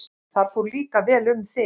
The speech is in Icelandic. Þar fór líka vel um þig.